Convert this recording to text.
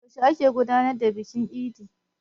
Yaushe aka gudanar da bikin idin?